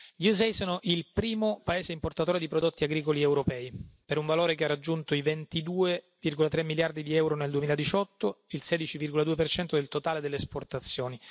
Gli USA sono il primo paese importatore di prodotti agricoli europei, per un valore che ha raggiunto i 22,3 miliardi di euro nel 2018, il 16,2 del totale delle esportazioni.